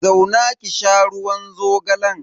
Zauna ki sha ruwan zogalan.